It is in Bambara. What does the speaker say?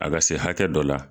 A ka se hakɛ dɔ la.